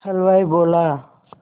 हलवाई बोला